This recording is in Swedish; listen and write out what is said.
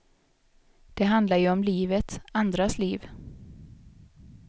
Det handlar ju om livet, andras liv.